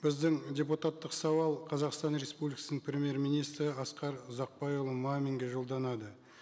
біздің депутаттық сауал қазақстан республикасының премьер министрі асқар ұзақбайұлы маминге жолданады